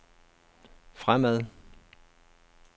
fremad